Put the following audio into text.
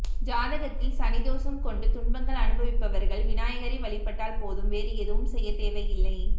ஜாதகத்தில் சனி தோஷம் கொண்டு துன்பங்கள் அனுபவிப்பார்கள் விநாயகரை வழிபட்டால் போதும் வேறு எதுவும் செய்யத் தேவையில்லை